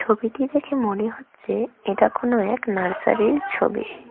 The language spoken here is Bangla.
ছবিটি দেখে মনে হচ্ছে এটা কোনও এক নার্সারি -এর ছবি।